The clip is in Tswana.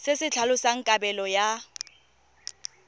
se se tlhalosang kabelo ya